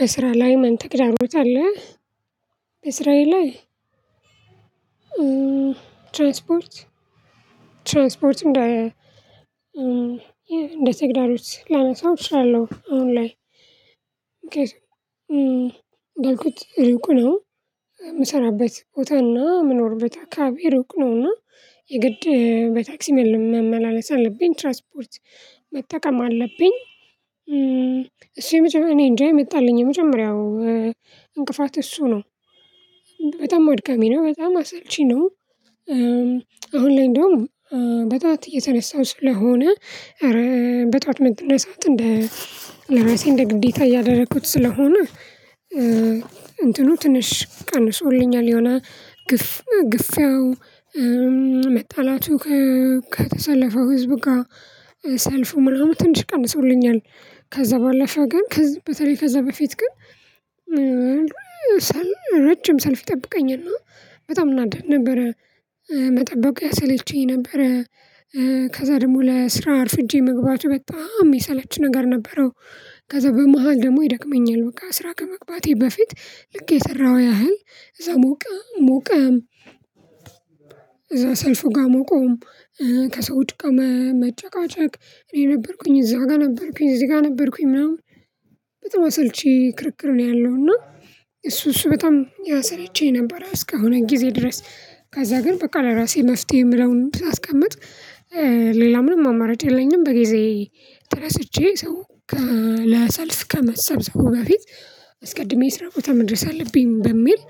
በስራ ላይ ምን ተግዳሮት አለ? በስራዬ ላይ ትራንስፖርት ትራንስፖርት እንደ ተግዳሮች ላነሳው እችላለሁ አሁን ላይ እንዳልኩት ሩቅ ነው የምሰራበት ቦታና ምኖርበት አካባቢ ሩቅ ነውና የግድ በታክሲ መመላለስ አለብኝ። ትራንስፖርት መጠቀም አለብኝ። እሱ የመጀመሪያው እኔ እንጃ የመጣልኝ የመጀመሪያው እንቅፋት እሱ ነው። በጣም አድካሚ ነው በጣም አሰልቺ ነው አሁን ላይ እንደውም በጧት እየተነሳሁ ስለሆነ ኧረ በጧት መነሳት እንደ ለራሴ እንደ ግዴታ እያደረኩት ስለሆነ እንትኑ ትንሽ ቀንሶልኛል የሆነ ግፍ ግፍያው መጣላቱ ከተሰለፈው ህዝብ ጋ ሰልፉ ምርሩ ትንሽ ቀንሶልኛል ከዛ ባለፈ ግን በተለይ ከዛ በፊት ግን ረጅም ሰልፍ ይጠብቀኛልና በጣም እናደድ ነበረ መጠበቁ ያሰለቸኝ ነበረ ከዛ ደግሞ ለስራ አርፍጄ መግባቱ በጣም ሚሰለች ነገር ነበረው ከዛ በመሃል ደግሞ ይደክመኛል በቃ ስራ ከመግባቴ በፊት ልክ የሰራሁ ያህል እዛ ሞቀ ሞቀ እዛ ሰልፉ ጋ ሞቆም ከሰውች ጋ መጨቃጨቅ እኔ ነበርኩኝ እዛ ጋ ነበርኩኝ እዚህ ጋ ነበርኩኝ ምናምን በጣም አሰልቺ ክርክር ነው ያለው እና እሱ እሱ በጣም ያሰለቸኝ ነበረ እስከሆነ ጊዜ ድረስ ከዛ ግን በቃ ለራሴ መፍትሄ የምለውን ሳስቀምጥ ሌላ ምንም አማራጭ የለኝም በጊዜ ተነስቼ ሰው ለሰልፍ ከመሰብሰቡ በፊት አስቀድሜ የስራ ቦታ ምድረስ አለብኝ በሚል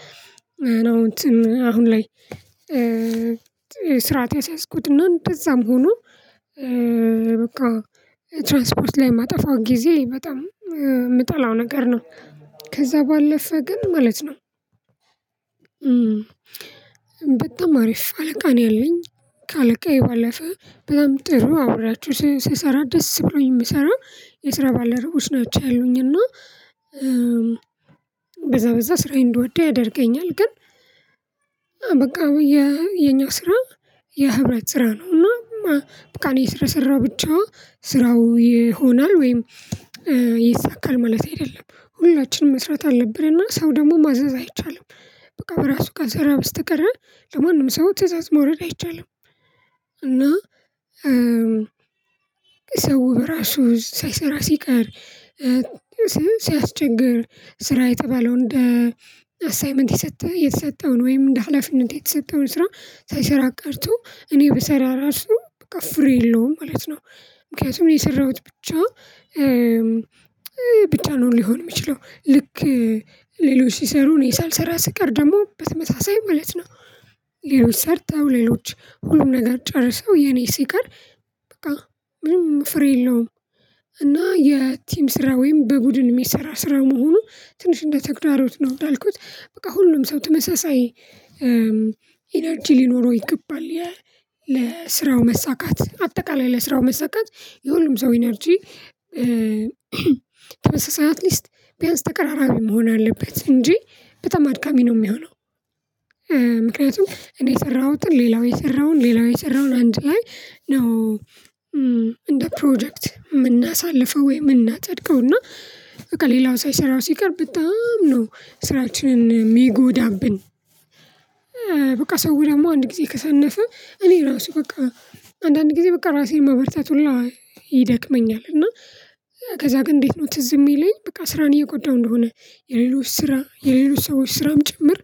ነው እንትን አሁን ላይ ስርዓት ያስያዝኩት እንደዛም ሆኖ በቃ ትራንስፖርት ላይ የማጠፋው ጊዜ በጣም የምጠላው ነገር ነው። ከዛ ባለፈ ግን ማለት ነው በጣም አሪፍ አለቃ ነው ያለኝ። ከ አለቃዬ ባለፈ በጣም ጥሩ አብሬያቸው ስሰራ ደስ ብሎኝ የምሰራ የስራ ባልደረቦች ናቸው ያሉኝ እና በዛ በዛ ስራዬን እንድወደው ያደርገኛል። ግን በቃ የኛ ስራ የህብረት ስራ ነው እና በቃ እኔ ስለሰራሁ ብቻ ስራው ይሆናል ወይም ይሳካል ማለቴ አይደለም። ሁላችንም መስራት አለብን እና ሰው ደግሞ ማዘዝ አይቻልም በቃ በራሱ ካልሰራ በስተቀረ ለማንም ሰው ትእዛዝ ማውረድ አይቻልም እና ሰው በራሱ ሳይሰራ ሲቀር ሳያስቸግር ስራ የተባለው እንደ አሳይመንት የሰጠ የተሰጠውን ወይም እንደ ሀላፊነት የተሰጠውን ስራ ሳይሰራ ቀርቶ እኔ ብሰራ ራሱ በቃ ፍሬ የለውም ማለት ነው ምክንያቱም እኔ የሰራሁት ብቻ ብቻ ነው ሊሆን የሚችለው። ልክ ሌሎች ሲሰሩ እኔ ሳልሰራ ስቀር ደግሞ በተመሳሳይ ማለት ነው። ሌሎች ሰርተው ሌሎች ሁሉን ነገር ጨርሰው የኔ ሲቀር በቃ ምንም ፍሬ የለውም እና የቲም ስራ ወይም በቡድን የሚሰራ ስራ መሆኑ ትንሽ እንደ ተግዳሮት ነው። እንዳልኩት በቃ ሁሉም ሰው ተመሳሳይ ኢነርጂ ሊኖረው ይገባል ለስራው መሳካት አጠቃላይ ለስራው መሳካት የሁሉም ሰው ኢነርጂ ተመሳሳይ አትሊስት ቢያንስ ተቀራራቢ መሆን አለበት እንጂ በጣም አድካሚ ነው ሚሆነው። ምክንያቱም እኔ የሰራሁትን ሌላው የሰራውን ሌላው የሰራውን አንድ ላይ ነው እንደ ፕሮጀክት ምናሳልፈው ወይ ምናጸድቀው እና በቃ ሌላው ሳይሰራው ሲቀር በጣም ነው ስራችንን ሚጎዳብን። በቃ ሰው ደግሞ አንድ ጊዜ ከሰነፈ እኔ ራሱ በቃ አንዳንድ ጊዜ በቃ ራሴን ማበርታት ሁላ ይደክመኛል እና ከዛ ግን እንዴት ነው ትዝ የሚለኝ በቃ ስራን እየጎዳሁ እንደሆነ የሌሎች ስራ የሌሎች ሰዎች ስራም ጭምር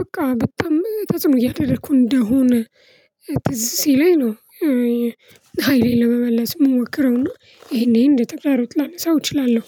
በቃ በጣም ተጽዕኖ እያደረኩ እንደሆነ ትዝ ሲለኝ ነው ሃይሌን ለመመለስ ምሞክረው እና ይሄን ይሄን እንደ ተግዳሮት ላነሳው እችላለሁ